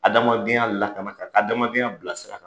Adamadenya lakana k'a ka adamadenya bila sira kan.